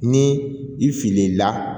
Ni i filila